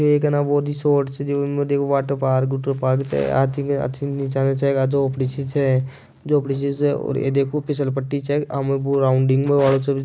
एक है ना वो रिसोर्ट वाटर पार्क आदमी नीचा नीचा अथी झोपडी सी छे झोपडी छे देखो फिसल पटी आमे बो राउंडिंग --